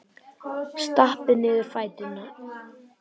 Stappa niður fætinum.